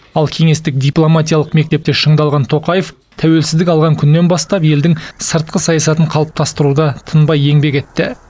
ал кеңестік дипломатиялық мектепте шыңдалған тоқаев тәуелсіздік алған күннен бастап елдің сыртқы саясатын қалыптастыруда тынбай еңбек етті